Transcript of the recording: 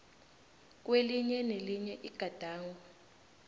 kwelinye nelinye igadango